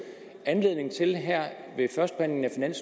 er